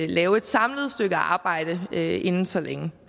lave et samlet stykke arbejde inden så længe